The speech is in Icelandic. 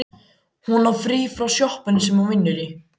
Hún á frí frá sjoppunni sem hún vinnur í.